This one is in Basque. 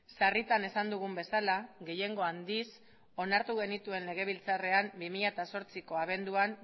sarritan esan dugun bezala gehiengo handiz onartu genituen legebiltzarrean bi mila zortziko abenduan